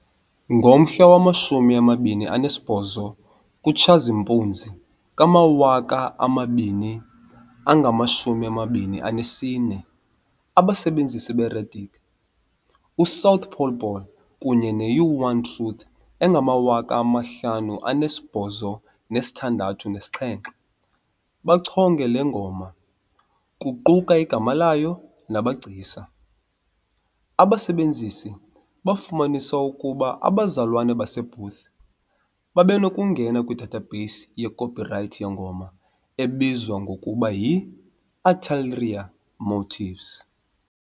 Ngomhla wama-28 kuTshazimpuzi ka-2024, abasebenzisi beReddit u-south_pole_ball kunye ne-u-One-Truth-5867 bachonge le ngoma, kuquka igama layo namagcisa. Abasebenzisi bafumanisa ukuba abazalwana baseBooth babenokungena kwi-database ye-copyright yengoma ebizwa ngokuba yi "Ulterior Motives".